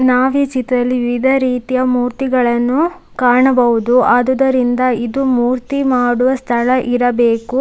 ನಾವೀ ಚಿತ್ರದಲ್ಲಿ ವಿವಿಧ ರೀತಿಯ ಮೂರ್ತಿಗಳನ್ನು ಕಾಣಬಹುದು ಆದುದರಿಂದ ಇದು ಮೂರ್ತಿ ಮಾಡುವ ಸ್ಥಳ ಇರಬೇಕು.